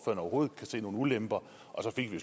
overhovedet kan se nogen ulemper og så fik vi